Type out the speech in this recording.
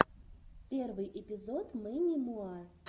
первый эпизод мэнни муа